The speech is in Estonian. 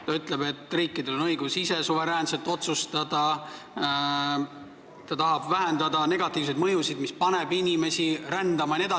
Siin öeldakse, et riikidel on õigus ise suveräänselt otsustada, tahetakse vähendada negatiivseid mõjusid, mis paneb inimesi rändama jne.